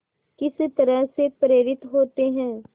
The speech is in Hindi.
किस तरह से प्रेरित होते हैं